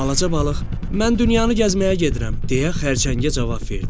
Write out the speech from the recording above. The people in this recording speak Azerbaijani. Balaca balıq “Mən dünyanı gəzməyə gedirəm” deyə xərçəngə cavab verdi.